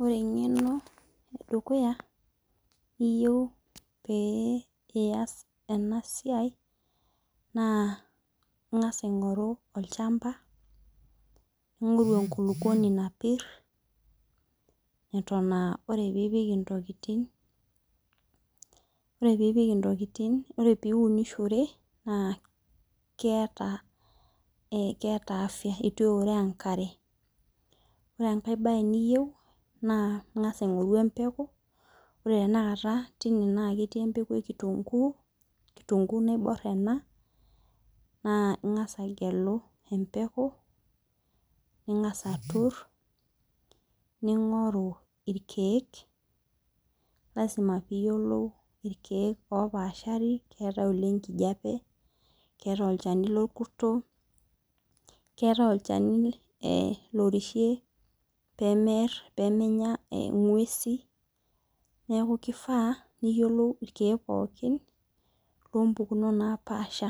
Ore engeno edukuya niyieu pee iyas enasiai naa ingas aingoru olchamba oota enkukuoni napir neton aa ore piipik ntokitin , ore piipik ntokitin naa keeta , itu eya enkare , keeta afya . Ore enkae bae niyieu naa ingas aingoru empeku naa ketii empeku ekitunguu , kitungu naibor ena naa ingas agelu emepeku , ningas atur ningoru irkiek, lasima piyiolou irkiek opashari , keetae olchani lenkijape keetae olchani lorkurto keetae olchani lorishirie pemear pemenya ingwesi , neku kifaa niyiolou irkiek pokin lompukunot napasha